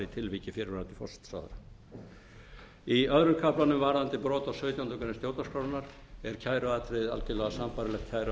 tilviki fyrrverandi forsætisráðherra í öðrum kaflanum varðandi brot á sautjándu grein stjórnarskrárinnar er kæruatriðið algerlega sambærilegt